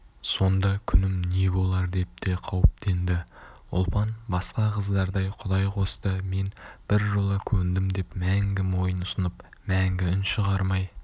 сонда күнім не болар деп те қауіптенді ұлпан басқа қыздардай құдай қосты мен біржола көндім деп мәңгі мойын ұсынып мәңгі үн шығармай